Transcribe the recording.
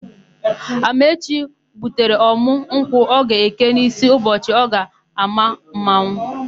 Amaechi gbutere ọ̀mụ́ nkwụ ọ ga-eke n'ísí n'ụbọchị ọ ga-àmá mmanwụ.